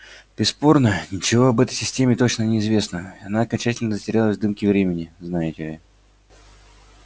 бесспорно ничего об этой системе точно не известно она окончательно затерялась в дымке времени знаете ли